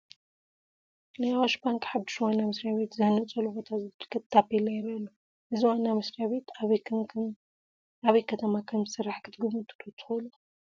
ናይ ኣዋሽ ባንኪ ሓዱሽ ዋና መስርያ ቤት ዝህነፀሉ ቦታ ዘመልክት ታፔላ ይርአ ኣሎ፡፡ እዚ ዋና መስሪያ ቤት ኣበይ ከተማ ከምዝስራሕ ክትግምቱ ዶ ትኽእሉ?